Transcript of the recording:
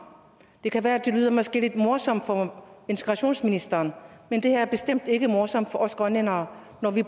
det kan være at det måske lyder lidt morsomt for integrationsministeren men det her er bestemt ikke morsomt for os grønlændere når vi